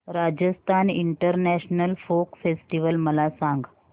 Rajasthan international folk festival मला सांग